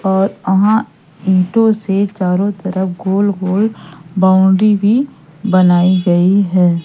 और अहां ईंटों से चारों तरफ गोल गोल बाउंड्री भी बनाई गयी है।